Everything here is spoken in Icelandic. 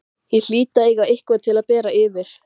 Ég hlýt að eiga eitthvað til að bera yfir.